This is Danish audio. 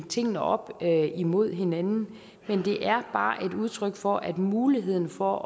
tingene op imod hinanden det er bare et udtryk for at muligheden for